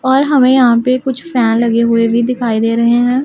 और हमें यहां पे कुछ फैन लगे हुए भी दिखाई दे रहे हैं।